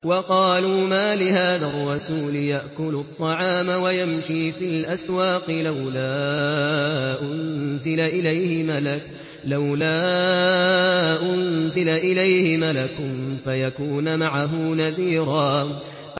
وَقَالُوا مَالِ هَٰذَا الرَّسُولِ يَأْكُلُ الطَّعَامَ وَيَمْشِي فِي الْأَسْوَاقِ ۙ لَوْلَا أُنزِلَ إِلَيْهِ مَلَكٌ فَيَكُونَ مَعَهُ نَذِيرًا